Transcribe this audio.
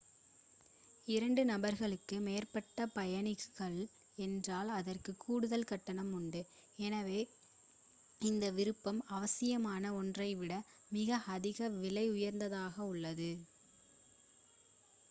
2 நபர்களுக்கு மேற்பட்ட பயணிகள் என்றால் அதற்கு கூடுதல் கட்டணம் உண்டு எனவே இந்த விருப்பம் அவசியமான ஒன்றைவிட மிக அதிக விலை உயர்ந்ததாக உள்ளது